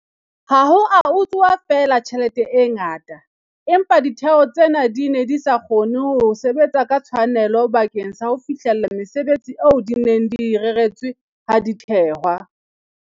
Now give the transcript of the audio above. Ha ho a utsuwa feela tjhelete e ngata, empa ditheo tsena di ne di sa kgone ho sebetsa ka tshwanelo bakeng sa ho fihlella mesebetsi eo di neng di e reretswe ha di thehwa.